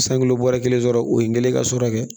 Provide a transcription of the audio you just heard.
San kulo bɔra kelen sɔrɔ o ye n kɛlen ka sɔrɔ kɛ